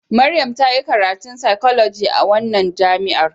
Maryam ta yi karatun fsychology a wannan jami'a.